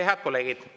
Head kolleegid!